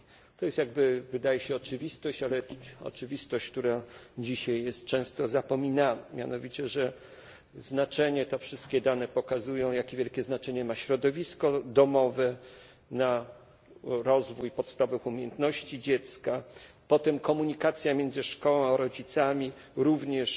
To, jak się wydaje, jest oczywistość, ale oczywistość, która dzisiaj jest często zapominana, mianowicie że te wszystkie dane pokazują, jak wielkie znaczenie ma środowisko domowe dla rozwoju podstawowych umiejętności dziecka, potem komunikacja między szkołą a rodzicami, również